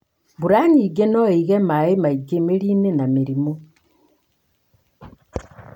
mbura nyingĩ mũno noĩige maĩ maingĩ mĩrinĩ na mĩrĩmũ.